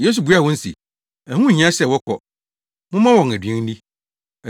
Yesu buaa wɔn se, “Ɛho nhia sɛ wɔkɔ; momma wɔn aduan nni!”